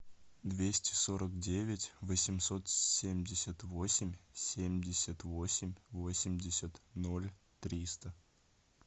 двести сорок девять восемьсот семьдесят восемь семьдесят восемь восемьдесят ноль триста